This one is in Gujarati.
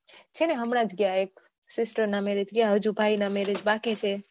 છે ને હમણાં જ ગયા એક sister ના marriage ગયા હવે ભાઈ ના marriage બાકી છે.